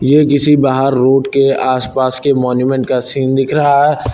ये किसी बाहर रोड के आसपास के मोन्यूमेंट का सीन दिख रहा है।